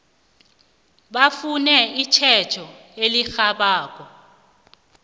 bafune itjhejo elirhabako